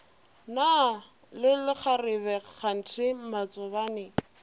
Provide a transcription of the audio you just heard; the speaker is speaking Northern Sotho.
na le lekgarebe kganthe matsobane